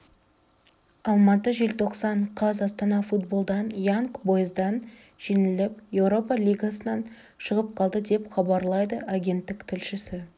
алматы желтоқсан қаз астана футболдан янг бойздан жеңіліп еуропа лигасынан шығып қалды деп хабарлады агенттік тілшісі